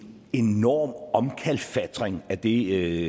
enorm omkalfatring af det